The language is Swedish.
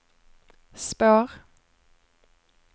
spår